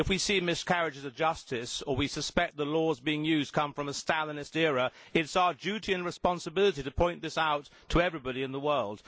If we see miscarriages of justice, or we suspect that the laws being used come from the Stalinist era, then it is our duty and responsibility to point this out to everybody in the world.